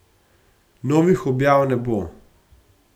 Novih objav ne bo.